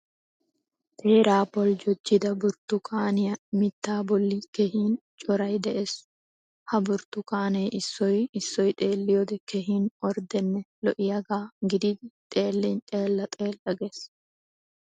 Teera boljjojida burttukaniyaa mitta bolli keehin coray de'ees. Ha burttukanne issoy issoy xeeliyoode keehin orddenne lo"iyaaga gididi xeellin xeella xeella gees.